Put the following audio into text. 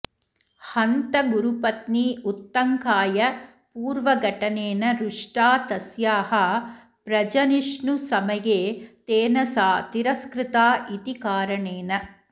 हन्त गुरुपत्नी उत्तङ्काय पूर्वघटनेन रुष्टा तस्याः प्रजनिष्णुसमये तेन सा तिरस्कृता इति कारणेन